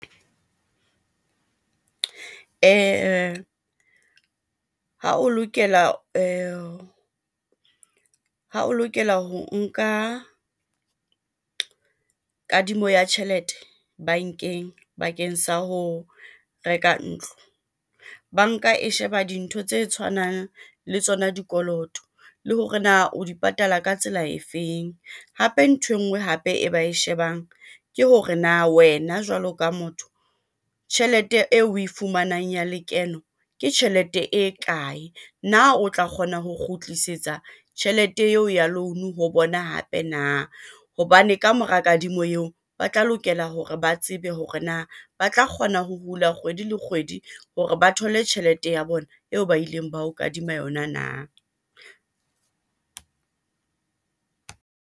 Ha o lokela ha o lokela ho nka kadimo ya tjhelete bankeng bakeng sa ho reka ntlo. Banka e sheba dintho tse tshwanang le tsona dikoloto le hore na o di patala ka tsela efeng? Hape nthwe nngwe hape e ba e shebang ke hore na wena jwalo ka motho, tjhelete eo oe fumanang ya lekeno ke tjhelete e kae? Na o tla kgona ho kgutlisetsa tjhelete eo ya loan-o ho bona hape na? Hobane kamora kadimo eo, ba tla lokela hore ba tsebe hore na ba tla kgona ho hula kgwedi le kgwedi hore ba thole tjhelete ya bona eo ba ileng ba ho kadima yona na?